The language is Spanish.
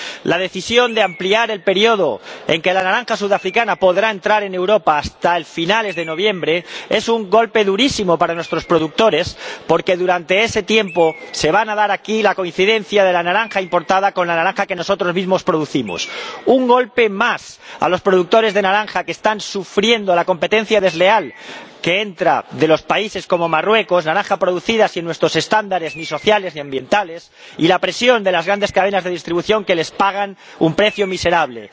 La decisión de ampliar el periodo en que la naranja sudafricana podrá entrar en Europa hasta finales de noviembre es un golpe durísimo para nuestros productores, porque durante ese tiempo se va a dar aquí la coincidencia de la naranja importada con la naranja que nosotros mismos producimos. Un golpe más a los productores de naranja, que están sufriendo la competencia desleal que entra de países como Marruecos —donde la naranja es producida sin nuestros estándares, ni sociales ni ambientales— y la presión de las grandes cadenas de distribución, que les pagan un precio miserable.